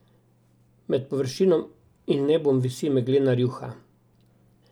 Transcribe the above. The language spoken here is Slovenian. Med površino in nebom visi meglena rjuha.